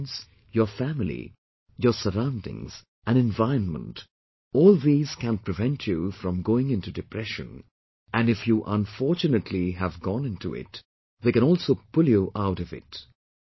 Your friends, your family, your surroundings, and environment, all these can prevent you from going into depression and if you unfortunately has gone into it, they can also pull you out of it